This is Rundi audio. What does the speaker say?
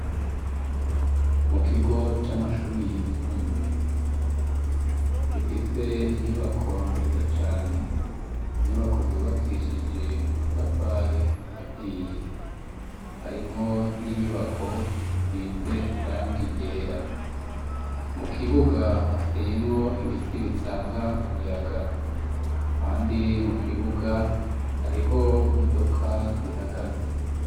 Mu kigo c'amashuburi yisumbuye gifise inyubako nziza cane inyubako zubakishije amatafari ahiye harimwo n'inyubako zisize iranga irera mu kibuga hateyemwo ibiti bitanga umuyaga, kandi mu kibuga hariho imodoka zihagaze.